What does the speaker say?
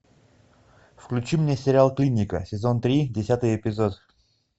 включи мне сериал клиника сезон три десятый эпизод